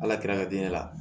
Ala kira ka di ne la